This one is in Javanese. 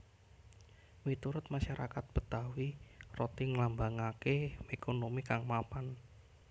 Miturut masarakat Betawi roti nglambangaké ékonomi kang mapan